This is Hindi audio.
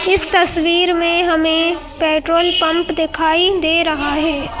इस तस्वीर में हमें पेट्रोल पंप दिखाई दे रहा है।